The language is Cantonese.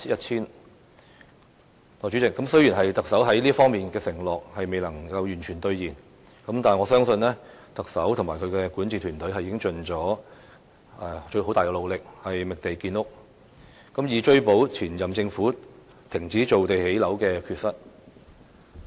代理主席，雖然特首在這方面的承諾未能夠完全兌現，但我相信特首和他的管治團隊已盡最大努力，覓地建屋，以追補前任政府停止造地建屋的缺失。